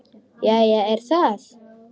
Jæja er það.